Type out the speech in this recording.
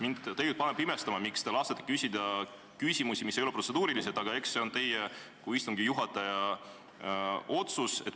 Mind paneb tegelikult imestama, miks te lasete küsida küsimusi, mis ei ole protseduurilised, aga eks see on teie kui istungi juhataja otsus.